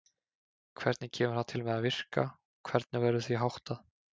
Hvernig kemur það til með að virka og hvernig verður því háttað?